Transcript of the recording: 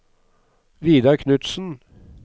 Vidar Knutsen